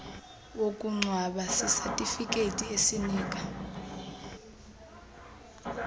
wokungcwaba sisatifiketi esinika